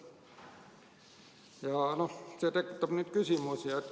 Ja see tekitab nüüd küsimusi.